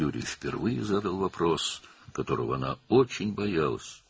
Yuri ilk dəfə onun çox qorxduğu bir sualı verdi: